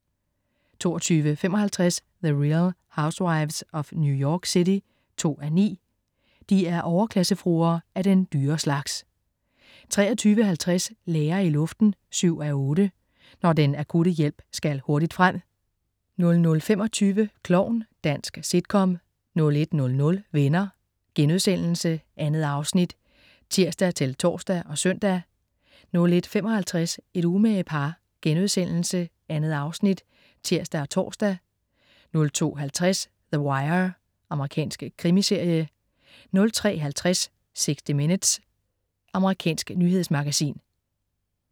22.55 The Real Housewives of New York City 2:9. De er overklassefruer, af den dyre slags 23.50 Læger i luften 7:8. Når den akutte hjælp skal hurtigt frem 00.25 Klovn. Dansk sitcom 01.00 Venner.* 2 afnit (tirs-tors og søn) 01.55 Et umage par.* 2 afsnit (tirs og tors) 02.50 The Wire. Amerikansk krimiserie 03.50 60 minutes. Amerikansk nyhedsmagasin